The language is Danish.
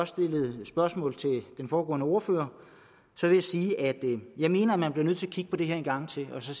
stillede spørgsmål til den foregående ordfører vil jeg sige at jeg mener at man bliver nødt til at kigge på det her en gang til og